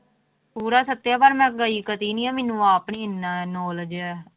ਪੂਰਾ ਛੱਤਿਆ ਪਰ ਮੈਂ ਗਈ ਕਦੇ ਨੀ ਆਂ ਮੈਨੂੰ ਆਪ ਨੀ ਇੰਨਾ knowledge ਹੈ